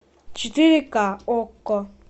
четыре ка окко